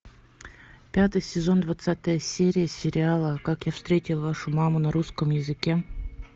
пятый сезон двадцатая серия сериала как я встретил вашу маму на русском языке